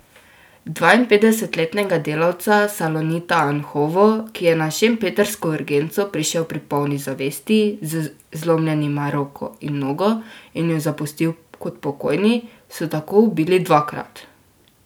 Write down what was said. Dvainpetdesetletnega delavca Salonita Anhovo, ki je na šempetrsko urgenco prišel pri polni zavesti, z zlomljenima roko in nogo, in jo zapustil kot pokojni, so tako ubili dvakrat.